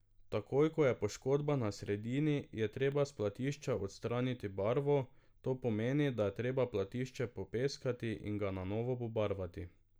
Takoj ko je poškodba na sredini, je treba s platišča odstraniti barvo, to pomeni, da je treba platišče popeskati in ga na novo pobarvati.